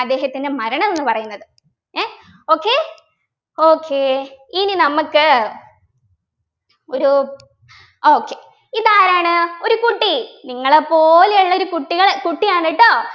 അദ്ദേഹത്തിൻ്റെ മരണം എന്നു പറയുന്നത് ഏർ okay okay ഇനി നമുക്ക് ഒരു ആഹ് okay ഇതാരാണ് ഒരു കുട്ടി നിങ്ങളെ പോലെയുള്ള ഒരു കുട്ടികള് കുട്ടിയാണ് കേട്ടോ